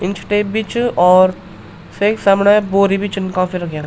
Inch tape भी च और सेक समणें बोरी भी छिन काफी रख्याँ।